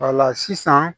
sisan